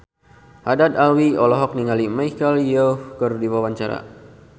Haddad Alwi olohok ningali Michelle Yeoh keur diwawancara